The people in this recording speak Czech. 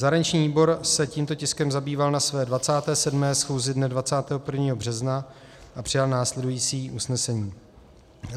Zahraniční výbor se tímto tiskem zabýval na své 27. schůzi dne 21. března a přijal následující usnesení: